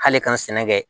K'ale ka n sɛnɛ kɛ